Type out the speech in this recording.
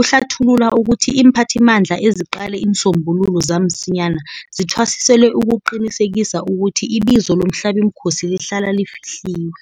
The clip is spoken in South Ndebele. Uhlathulula ukuthi iimphathimandla eziqale iinsombululo zamsinyana zithwasiselwe ukuqinisekisa ukuthi ibizo lomhlabimkhosi lihlala lifihliwe.